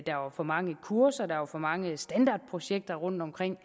der var for mange kurser der var for mange standardprojekter rundtomkring